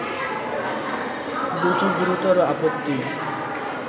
দুইটি গুরুতর আপত্তি